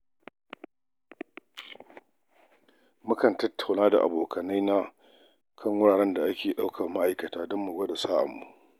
Mukan tattauna da abokai na kan wuraren da ake neman ma’aikata don mu gwada sa'armu.